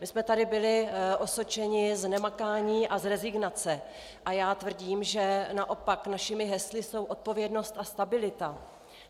My jsme tady byli osočeni z nemakání a z rezignace a já tvrdím, že naopak našimi hesly jsou odpovědnost a stabilita.